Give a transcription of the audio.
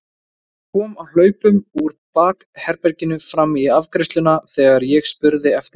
Hún kom á hlaupum úr bakherberginu fram í afgreiðsluna þegar ég spurði eftir henni.